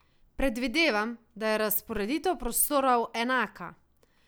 Predvidevam, da je razporeditev prostorov enaka.